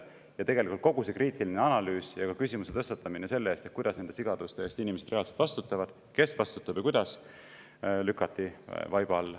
Ja tegelikult kogu kriitilise analüüsi ja küsimuse tõstatamine, kuidas nende sigaduste eest inimesed reaalselt vastutavad, kes vastutab ja kuidas, lükati vaiba alla.